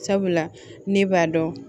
Sabula ne b'a dɔn